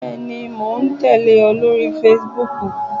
Bẹẹni, mo ń tẹle ọ lórí Facebook.